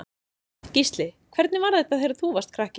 Gísli: Hvernig var þetta þegar þú varst krakki?